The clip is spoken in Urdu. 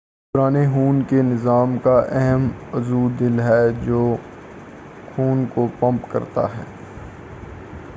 دوران خون کے نظام کا اہم عضو دل ہے جو خون کو پمپ کرتا ہے